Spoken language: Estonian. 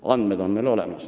" Andmed on meil olemas.